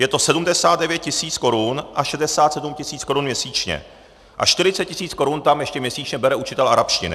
Je to 79 tisíc korun a 67 tisíc korun měsíčně a 40 tisíc korun tam ještě měsíčně bere učitel arabštiny.